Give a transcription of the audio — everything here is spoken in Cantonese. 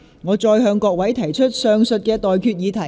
我現在向各位提出上述待決議題。